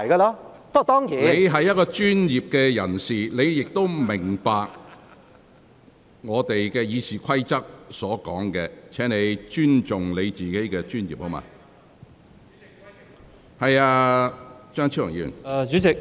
你身為專業人士，理應明白《議事規則》的規定，請你尊重自己的專業。